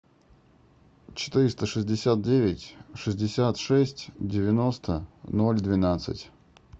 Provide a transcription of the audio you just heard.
четыреста шестьдесят девять шестьдесят шесть девяносто ноль двенадцать